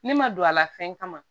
Ne ma don a la fɛn kama